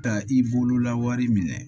Ka i bolola wari minɛ